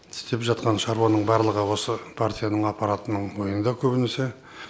істеп жатқан шаруаның барлығы осы партияның аппаратының мойынында көбінесе